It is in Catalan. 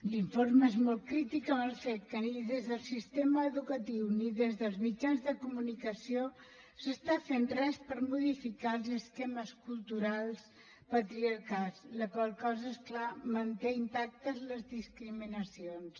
l’informe és molt crític amb el fet que ni des del sistema educatiu ni des dels mitjans de comunicació s’està fent res per modificar els esquemes culturals patriarcals la qual cosa és clar manté intactes les discriminacions